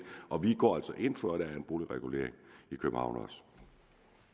og vi går altså ind for at der er en boligregulering